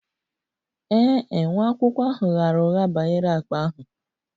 Ee e, nwa akwụkwọ ahụ ghaara ụgha banyere akpa ahụ